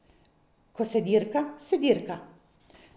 Ko se dirka, se dirka.